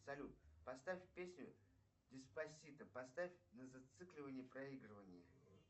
салют поставь песню дэ спасито поставь на зацикливание проигрывания